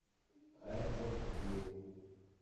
эдвард бил